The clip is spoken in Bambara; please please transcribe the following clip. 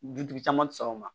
Dutigi caman ti sɔn o ma